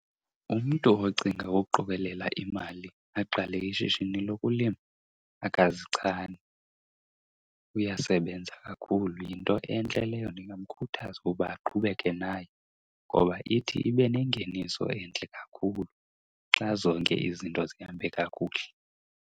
Umntu ocinga uqokelela imali aqale ishishini lokulima akazichani, uyasebenza kakhulu. Yinto entle leyo, ndingamkhuthaza ukuba aqhubeke nayo ngoba ithi ibe nengeniso entle kakhulu xa zonke izinto zihambe kakuhle.